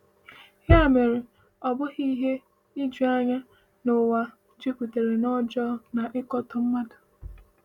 Ya mere, ọ bụghị ihe ijuanya na ụwa jupụtara n’ọjọọ na ịkatọ mmadụ.